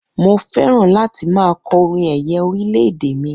Mo fẹ́ràn láti máa kọ orin ẹ̀yẹ orílẹ̀-èdè mi